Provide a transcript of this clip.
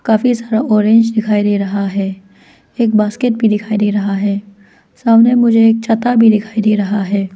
काफी सारा ऑरेंज दिखाई दे रहा है एक बास्केट भी दिखाई दे रहा है सामने मुझे एक छाता भी दिखाई दे रहा है।